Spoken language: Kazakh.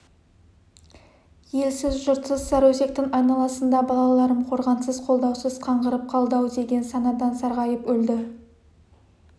елсіз жұртсыз сарыөзектің айналасында балаларым қорғансыз қолдаусыз қаңғырып қалды-ау деген санадан сарғайып өлді